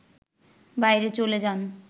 বাইরে চলে যান